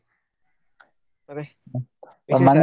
ಮತ್ತೆ ವಿಶೇಷ? .